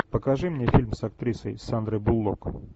покажи мне фильм с актрисой сандрой буллок